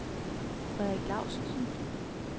Frederik Laustsen